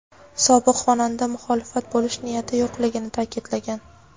sobiq xonanda muxolifat bo‘lish niyati yo‘qligini ta’kidlagan.